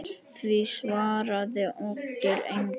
Því svaraði Oddur engu.